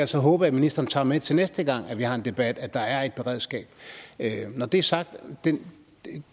så håbe at ministeren tager med til næste gang vi har en debat at der er et beredskab når det er sagt er den